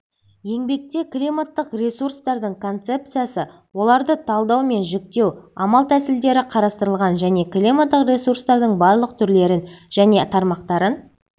еңбекте климаттық ресурстардың концепциясы оларды талдау мен жіктеу амал тәсілдері қарастырылған және климаттық ресурстардың барлық түрлерін және тармақтарын